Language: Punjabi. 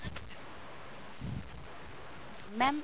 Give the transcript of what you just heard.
mam